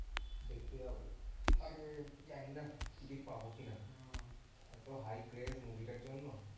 দেখতে যাব জানিনা ticket পাবো কিনা এত hi craze movie টার জন্য।